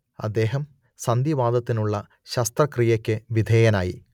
അദ്ദേഹം സന്ധിവാതത്തിനുള്ള ശസ്ത്രക്രിയക്ക് വിധേയനായി